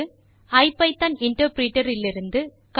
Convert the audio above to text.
ஐபிதான் interpreter இலிருந்து ட்